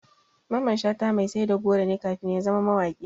Mamman Shata mai sai da goro ne kafin ya zama mawaƙi.